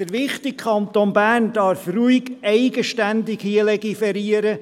Der wichtige Kanton Bern darf hier ruhig eigenständig legiferieren.